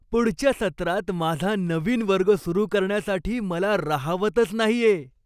पुढच्या सत्रात माझा नवीन वर्ग सुरू करण्यासाठी मला राहावतच नाहीये!